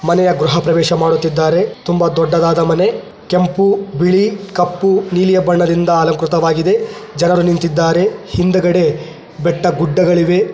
ಮನೆಯ ಗೃಹಪ್ರವೇಶ ಮಾಡುತ್ತಿದ್ದಾರೆ ತುಂಬಾ ದೊಡ್ಡದಾದ ಮನೆ ಕೆಂಪು ಬಿಳಿ ಕಪ್ಪು ನೀಲಿಯಾ ಬಣ್ಣದಿಂದ ಅಲಂಕೃತವಾಗಿದೆ ಜನರು ನಿಂತಿದ್ದಾರೆ ಹಿಂದ್ಗಡೆ ಬೆಟ್ಟ ಗುಡ್ಡಗಳಿವೆ.